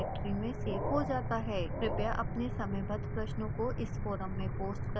कृपया अपने समयबद्ध प्रश्नों को इस फोरम में पोस्ट करें